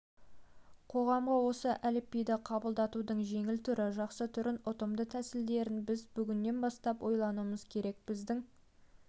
қоғамға осы әліпбиді қабылдатудың жеңіл түрі жақсы түрін ұтымды тәсілдерін біз бүгіннен бастап ойлануымыз керек біздің